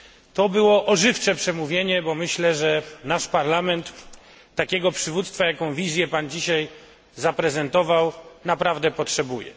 To było ożywcze przemówienie, bo myślę, że nasz Parlament takiego przywództwa, jakiego wizję pan dzisiaj zaprezentował naprawdę potrzebuje.